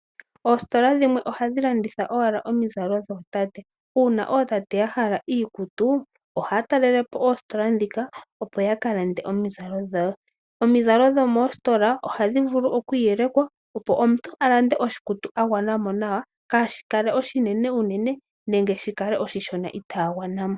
Oositola dhimwe ohadhi landitha owala omizalo dhootate, uuna ootate ya hala iikutu, ohaya talele po oositola dhika, opo ya ka lande omizalo dhawo. Omizalo dho moositola ohadhi vulu okwii yelekwa, opo omuntu a lande oshikutu a gwana mo nawa, kaa shikale oshinene unene nenge shi kale oshishona, i taa gwana mo.